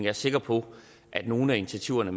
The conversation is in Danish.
er sikker på at nogle af initiativerne